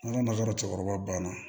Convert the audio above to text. An ka maka cɛkɔrɔba banna